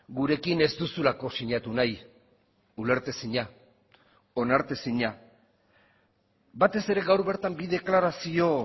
gurekin ez duzulako sinatu nahi ulertezina onartezina batez ere gaur bertan bi deklarazio